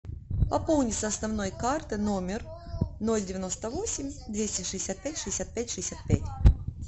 пополни с основной карты номер ноль девяносто восемь двести шестьдесят пять шестьдесят пять шестьдесят пять